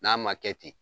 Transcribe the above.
N'a ma kɛ ten